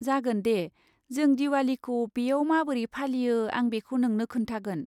जागोन दे! जों दिवालीखौ बेयाव माबोरै फालियो आं बेखौ नोंनो खोन्थागोन।